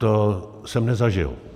To jsem nezažil.